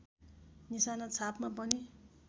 निशाना छापमा पनि